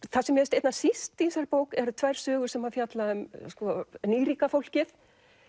það sem mér finnst einna síst í þessari bók eru tvær sögur sem fjalla um nýríka fólkið